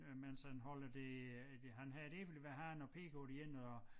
Øh mens han holder det det han har et æble i hver hånd og peger på det ene og